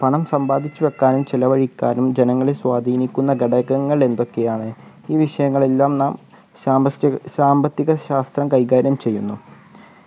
പണം സമ്പാദിച്ചുവെക്കാനും ചിലവഴിക്കാനും ജനങ്ങളെ സ്വാധിനിക്കുന്ന ഘടകങ്ങൾ എന്തൊക്കെയാണ് ഈ വിഷയങ്ങൾ എല്ലാം നാം ശാമ്പസ്തി സാമ്പത്തികശാസ്ത്രം കൈകാര്യം ചെയ്യുന്നു